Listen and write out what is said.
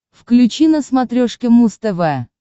включи на смотрешке муз тв